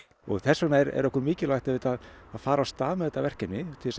og þess vegna er okkur mikilvægt auðvitað að fara af stað með þetta verkefni til